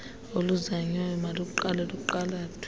oluzanywayo maluqale luqulathwe